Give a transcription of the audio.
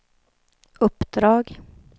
uppdrag